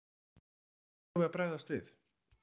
Hvernig eigum við að bregðast við?